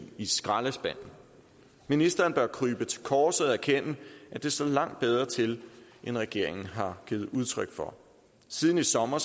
i skraldespanden ministeren bør krybe til korset og erkende at det stod langt bedre til end regeringen har givet udtryk for siden i sommer